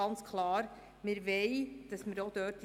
Ganz klar wollen wir diese Transparenz auch dort erreichen.